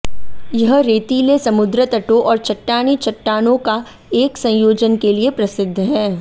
यह रेतीले समुद्र तटों और चट्टानी चट्टानों का एक संयोजन के लिए प्रसिद्ध है